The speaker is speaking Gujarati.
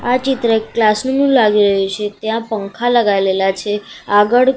આ ચિત્ર એક ક્લાસ નુ લાગી રહ્યુ છે ત્યાં પંખા લગાવેલા છે આગળ--